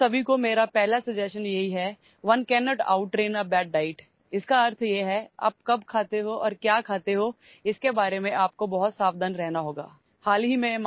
तुम्हा सर्वांना माझी पहिली सूचना म्हणजेone cannot out train a bad diet याचा अर्थ असा की तुम्ही कधी खाता आणि काय खाता याची खूप काळजी घ्यावी लागेल